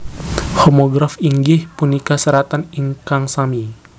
Homograf inggih punika seratan ingkang sami